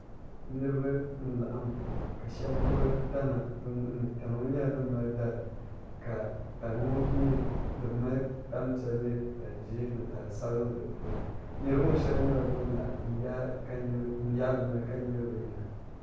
Niriba n laɣim ka shɛba gbubi tana bi nuhi ni tana ŋɔ nyɛla dini mali dari ka tani ŋɔ nyɛ dini mali tani piɛlli tani zɛɛ ni tani sabinli di puuni niriba ŋɔ shɛba nyɛla bini la nyagi bi noli ka nyili bi nyina.